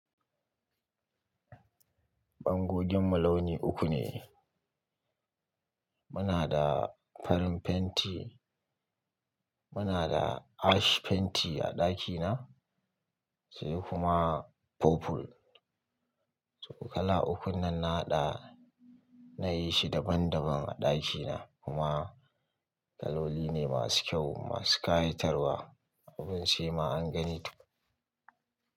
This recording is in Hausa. Bangoginmu launi uku ne. Muna da farin fenti, muna da ash fenti a ɗakina, sai kuma purple. To kala ukun nan na haɗa, nayi shi daban daban a ɗakina kuma kaloli ne masu kyau, masu kayatarwa. Abun sai ma an gani tukun,